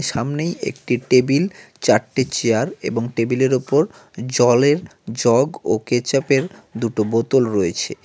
সামনেই একটি টেবিল চারটে চেয়ার এবং টেবিলের ওপর জলের জগ ও কেচাপের দুটো বোতল রয়েছে।